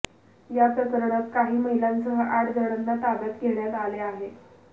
या प्रकरणात काही महिलांसह आठ जणांना ताब्यात घेण्यात आले आहे